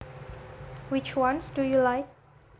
Which ones do you like